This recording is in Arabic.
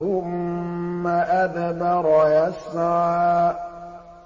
ثُمَّ أَدْبَرَ يَسْعَىٰ